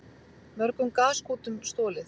Mörgum gaskútum stolið